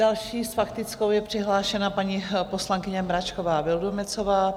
Další s faktickou je přihlášena paní poslankyně Mračková Vildumetzová.